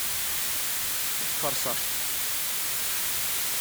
форсаж